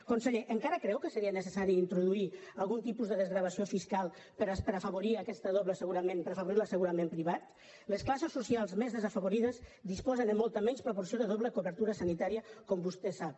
conseller encara creu que seria necessari introduir algun tipus de desgravació fiscal per afavorir aquest doble assegurament per afavorir l’assegurament privat les classes socials més desafavorides disposen de molta menys proporció de doble cobertura sanitària com vostè sap